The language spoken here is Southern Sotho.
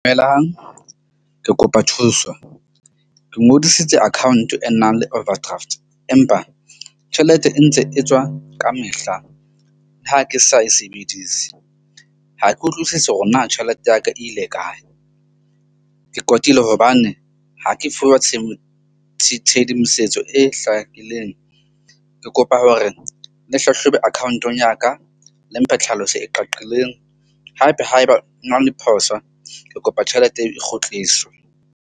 Dumelang, ke kopa thuso. Ke ngodisitse account e nang le overdraft, empa tjhelete e ntse e tswa ka mehla. Ha ke sa e sebedise ha ke utlwisisi hore na tjhelete ya ka e ile kae. Ke kwatile hobane ha ke fuwa tshedimosetso e hlakileng. Ke kopa hore le hlahlobe account-ong ya ka le mphe tlhaloso e qaqileng. Haebe haeba o na le phoso, ke kopa tjhelete e kgutliswe.